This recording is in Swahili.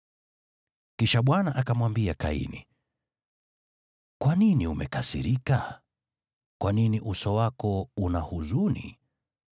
Kisha Bwana akamwambia Kaini, “Kwa nini umekasirika? Kwa nini uso wako una huzuni?